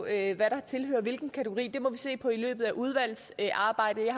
af hvad der tilhører hvilken kategori det må vi se på i løbet af udvalgsarbejdet jeg